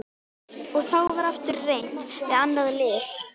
Og þá var aftur reynt við annað lyf.